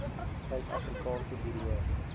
suid afrikaanse buro